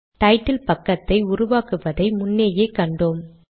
title பக்கத்தை உருவாக்குவதை முன்னேயே கண்டோம்